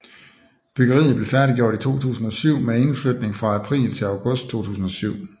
Byggeriet blev færdiggjort i 2007 med indflytning fra april til august 2007